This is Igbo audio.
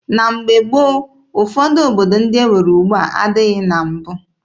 Na mgbe gboo, ụfọdụ obodo ndị e nwere ugbua adịghị na mbụ.